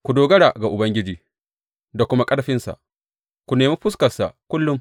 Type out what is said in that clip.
Ku dogara ga Ubangiji da kuma ƙarfinsa; ku nemi fuskarsa kullum.